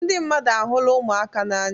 Ndị mmadụ ahụla ụmụaka n'anya.